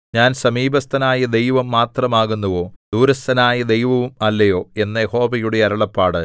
ഞാൻ സമീപസ്ഥനായ ദൈവം മാത്രം ആകുന്നുവോ ദൂരസ്ഥനായ ദൈവവും അല്ലയോ എന്ന് യഹോവയുടെ അരുളപ്പാട്